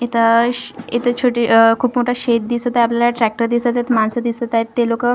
इथं श इथं छोटी खूप मोठं शेत दिसत आहे आपल्याला ट्रॅक्टर दिसत आहेत माणसं दिसत आहेत ते लोकं--